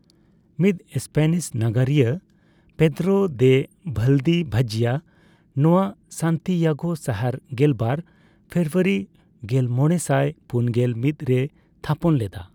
ᱢᱤᱫ ᱥᱯᱮᱱᱤᱥ ᱱᱟᱜᱟᱨᱤᱭᱟᱹ Pedro de ᱵᱷᱟᱞᱫᱤᱵᱷᱡᱭᱟ ᱱᱚᱣᱟ ᱥᱟᱱᱛᱤᱭᱟᱜᱳ ᱥᱟᱦᱟᱨ ᱜᱮᱞᱵᱟᱨ ᱯᱷᱮᱵᱨᱩᱭᱟᱨᱤ ᱜᱮᱞᱢᱚᱲᱮᱥᱟᱭ ᱯᱩᱱᱜᱮᱞ ᱢᱤᱛ ᱨᱮᱭ ᱛᱷᱟᱯᱚᱱ ᱞᱮᱫᱟ᱾